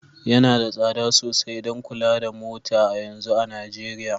Yana da tsada sosai don kula da mota a yanzu a Najeriya